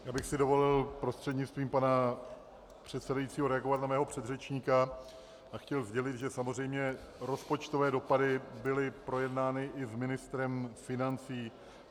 Já bych si dovolil prostřednictvím pana předsedajícího reagovat na svého předřečníka a chtěl sdělit, že samozřejmě rozpočtové dopady byly projednány i s ministrem financí.